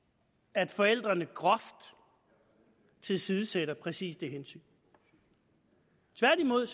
at forældrene groft tilsidesætter præcis det hensyn tværtimod